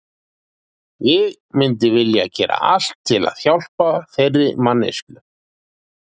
Ég myndi vilja gera allt til að hjálpa þeirri manneskju.